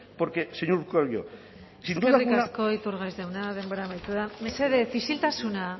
porque señor urkullu sin duda alguna eskerrik asko iturgaiz jauna denbora amaitu da mesedez isiltasuna